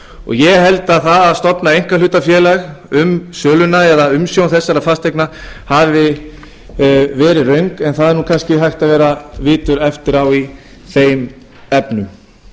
ég held að það að stofna einkahlutafélag um söluna eða umsjón þessara fasteigna hafi verið röng en það er nú kannski hægt að vera vitur eftir á í þeim efnum